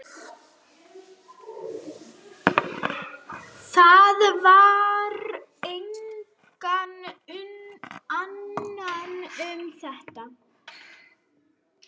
Það varðar engan annan um þetta!